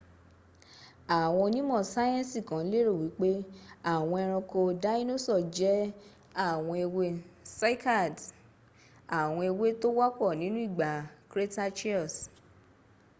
àwọn onímò sayensi kan lérò wípé àwọn ẹronko dáínósọ̀ jẹ àwọn ẹwẹ́ cycads àwọn ẹwẹ́ tó wọ́pọ̀ nínú ìgbà cretaceous